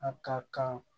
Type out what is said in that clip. A ka kan